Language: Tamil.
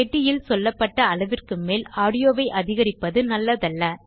பெட்டியில் சொல்லப்பட்ட அளவிற்கு மேல் ஆடியோவை அதிகரிப்பது நல்லதல்ல